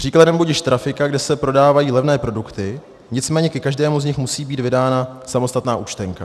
Příkladem budiž trafika, kde se prodávají levné produkty, nicméně ke každému z nich musí být vydána samostatná účtenka.